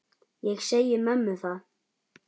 Ég segi mömmu það.